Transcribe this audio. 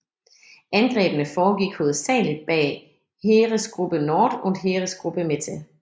Angrebene foregik hovedsageligt bag Heeresgruppe Nord og Heeresgruppe Mitte